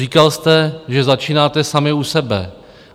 Říkal jste, že začínáte sami u sebe.